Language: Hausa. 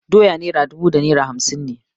Doyan naira dubu da naira hamsin ne.